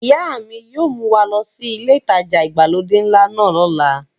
Ìyá mi yóò mú wa lọ sí ilé ìtajà ìgbàlódé ńlá náà lọ́la.